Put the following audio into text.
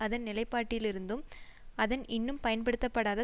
அதன் நிலைப்பாட்டில் இருந்தும் அதன் இன்னும் பயன்படுத்தப்படாத